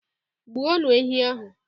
Gbuonu ehi ahụ!